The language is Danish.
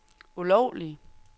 ulovlige